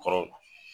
Kɔrɔ